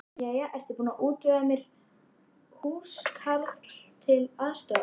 Jæja, ertu búin að útvega mér húskarl til aðstoðar?